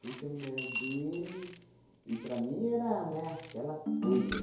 Fui ser mulher dele e, para mim, era, né, aquela coisa.